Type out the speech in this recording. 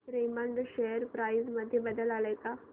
Raymond share price मध्ये बदल आलाय का